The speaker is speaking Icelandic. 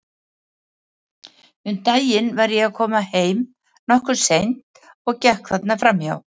Um daginn var ég að koma heim, nokkuð seint, og gekk þarna fram hjá.